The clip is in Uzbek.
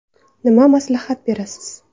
Nima maslahat berasiz?